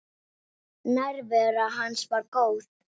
Nærvera hans var góð.